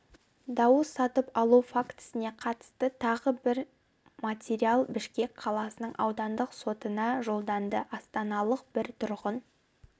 дауыс сатып алу фактісіне қатысты тағы бір материал бішкек қаласының аудандық сотына жолданды астаналық бір тұрғын